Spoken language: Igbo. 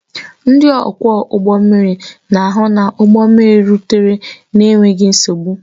Ndị ọkwọ ụgbọ mmiri na-ahụ na ụgbọ mmiri rutere n'enweghị nsogbu